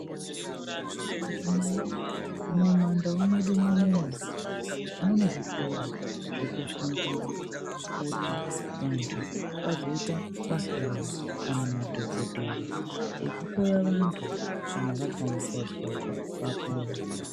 Antu nayi, mumandau mwedu munomu mune zvikoro zvekufundira kuti vantu vazoita vahloyi kana madhogodhera ekuhloya vantu kana vazwa mukwazwazwa vapone.